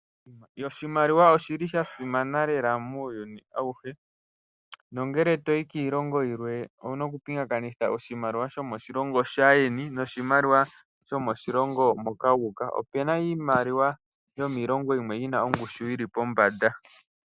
Oshimaliwa oshili shasimana lela muuyuni awuhe nongele toyi kiilongo yilwe owuna okupingakanitha oshimaliwa shomo shilongo shaayeni noshimaliwa shomoshilongo moka yuuka opuna iimaliwa yomiilongo yimwe yina ongushu yili pombanda.